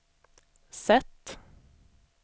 sätt